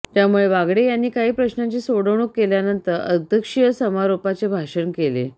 त्यामुळे बागडे यांनी काही प्रश्नांची सोडवणूक केल्यानंतर अध्यक्षीय समारोपाचे भाषण केले